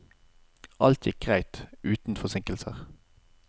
Alt gikk greit, uten forsinkelser.